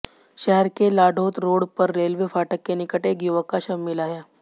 शहर के लाढ़ौत रोड पर रेलवे फाटक के निकट एक युवक का शव मिला है